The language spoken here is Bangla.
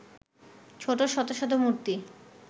ছোট শত শত মূর্তি